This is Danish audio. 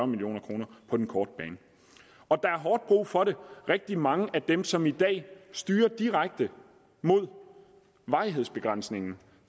million kroner på den korte bane og der er hårdt brug for det rigtig mange af dem som i dag styrer direkte mod varighedsbegrænsningen